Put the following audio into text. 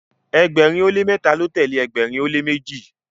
ẹgbẹrin o le mẹta lọ tẹle ẹgbẹrin o le meji